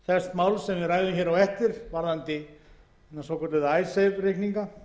máls sem við ræðum á eftir varðandi hina svokölluðu icesave reikninga